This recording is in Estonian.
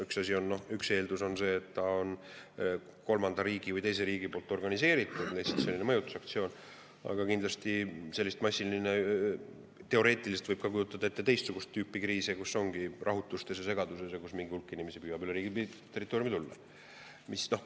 Üks eeldus on see, et tegu on kolmanda riigi või teise riigi organiseeritud mõjutusaktsiooniga, aga kindlasti teoreetiliselt võib kujutada ette teistsugust tüüpi kriise, kus ongi rahutused ja mingi hulk segaduses inimesi püüab üle piiri meie riigi territooriumile tulla.